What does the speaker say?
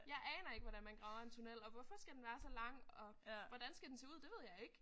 Jeg aner ikke hvordan man graver en tunnel og hvorfor skal den være så lang og hvordan skal den se ud det ved jeg ikke